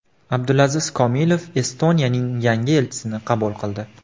Abdulaziz Komilov Estoniyaning yangi elchisini qabul qildi.